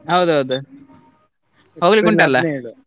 ಹೌದೌದು .